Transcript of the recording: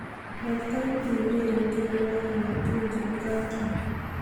matkoit eureren tionwogik alaktugul chebo country